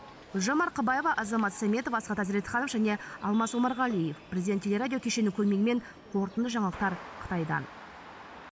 гүлжан марқабаева азамат сәметов асхат әзретханов және алмас омарғалиев президент теле радио кешені көмегімен қорытынды жаңалықтар қытайдан